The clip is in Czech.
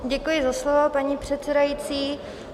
Děkuji za slovo, paní předsedající.